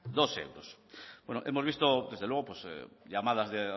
dos euros hemos visto desde luego llamadas de